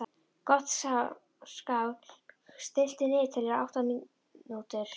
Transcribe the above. Gottskálk, stilltu niðurteljara á átta mínútur.